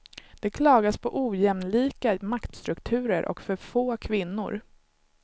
Det klagas på ojämlika maktstrukturer och för få kvinnor.